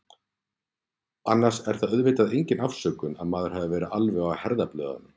Annars er það auðvitað engin afsökun að maður hafi verið alveg á herðablöðunum.